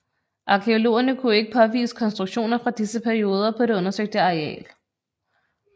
Arkæologerne kunne ikke påvise konstruktioner fra disse perioder på det undersøgte areal